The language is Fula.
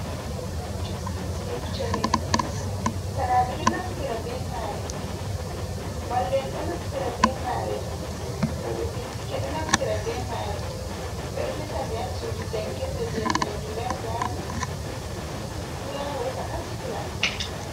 Deftere fukaraɓe ɗo naftira ɓe mare mallum en ɗo naftira be mare, waɗoɓe bincike ɗo naftira be mare, ɓeɗo resa nde ha sujdu jangirde viyetendu labrari mo ummi fu yaha hosa naftira.